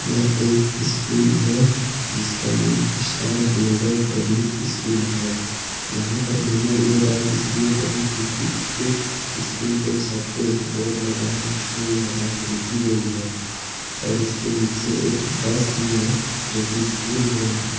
यह एक स्कूल है जिसका नाम स्टार ग्लोबल पब्लिक स्कूल है। यहाँ पर मैंने ये बात इसलिए कही क्योकि इसके स्कूल के छत पे एक बोर्ड लगा है जिसमें यह बात लिखी गई है और इसके नीचे एक बस भी है जो की स्कूल वैन है।